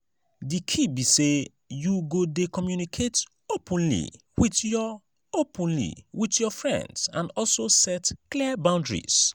di key be say you go dey communicate openly with your openly with your friends and also set clear boundaries.